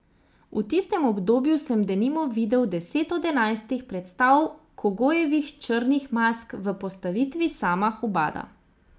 V tistem obdobju sem denimo videl deset od enajstih predstav Kogojevih Črnih mask v postavitvi Sama Hubada.